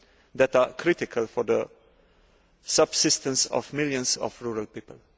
that are critical for the subsistence of millions of rural people.